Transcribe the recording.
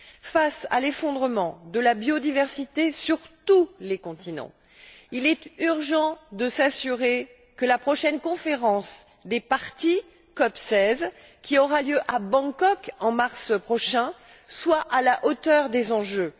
Face à l'effondrement de la biodiversité sur tous les continents, il est urgent de s'assurer que la seizième conférence des parties, qui aura lieu à Bangkok, en mars prochain, soit à la hauteur des enjeux.